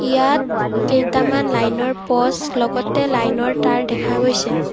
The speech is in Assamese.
ইয়াত কেইটামান লাইনৰ পোস্ত লগতে লাইনৰ তাৰ দেখা গৈছে।